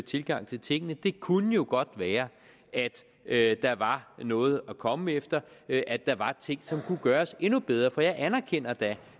tilgang til tingene det kunne jo godt være at der var noget at komme efter at der var ting som kunne gøres endnu bedre for jeg anerkender da